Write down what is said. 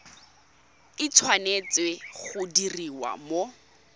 e tshwanetse go diriwa mo